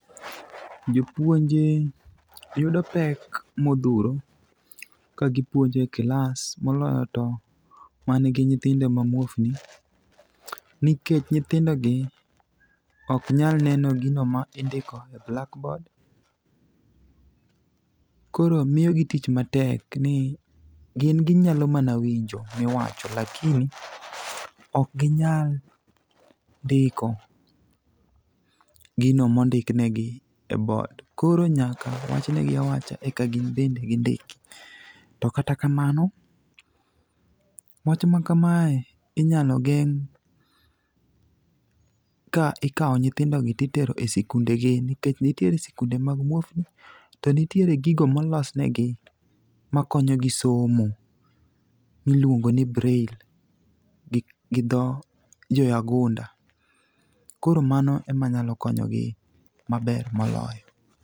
Jopuonje yudo pek modhuro kagipuonjo e klas moloyo to manigi nyithindo mamuofni nikech nyithindogi ok nyal neno gino ma indiko e blackboard. Koro miyo ji tich matek ni gin ginyalo mana winjo miwacho lakini ok ginyal ndiko gino mondik negi e board. Koro nyaka wachnegi awacha eka gin bende gindik, to kata kamano, wach ma kamae inyalo geng' ka ikawo nyithindogi titero e sikundegi nikech nitiere sikunde mag muofni, to nitiere gigo molosnegi makonyogi somo miluongoni braille gi dho joyagunda. Koro mano ema nyalo konyogi maber moloyo.